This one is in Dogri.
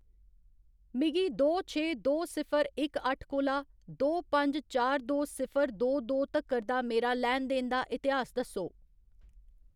मिगी दो छे दो सिफर इक अट्ठ कोला दो पंज चार दो सिफर दो दो तक्कर दा मेरा लैन देन दा इतिहास दस्सो।